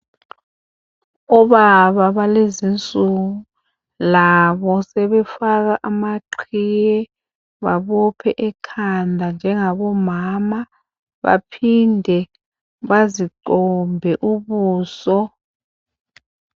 Obaba balezi insuku labo sebefaka amaqhiye, babophe ekhanda njengabomama baphinde bazicombe ubuso.